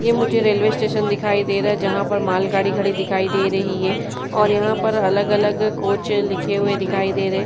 यह मुझे railway station दिखाई दे रहा जहां पर माल गाड़ी खड़ी दिखाई दे रही है और यहां पर अलग-अलग कोच लिखे हुए दिखाई दे रहे --